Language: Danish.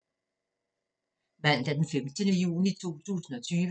Mandag d. 15. juni 2020